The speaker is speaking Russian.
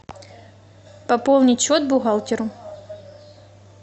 пополнить счет бухгалтеру